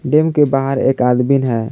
Dam के बाहर एक आदमिन है।